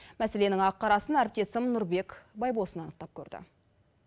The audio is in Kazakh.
мәселенің ақ қарасын әріптесім нұрбек байбосын анықтап көрді